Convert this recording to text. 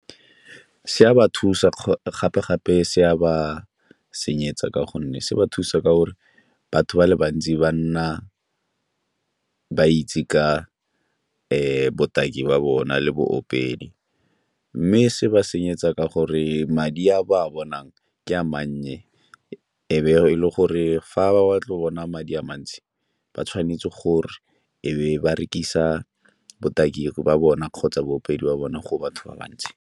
Se a ba thusa gape-gape, se a ba senyetsa ka gonne se ba thusa ka gore batho ba le bantsi ba nna ba itse ka botaki ba bona le boopedi, mme se ba senyetsa ka gore madi a ba a bonang ke a mannye e be e le gore fa ba batla go bona madi a mantsi ba tshwanetse gore e be ba rekisa botaki ba bona kgotsa boopedi ba bona go batho ba bantsi.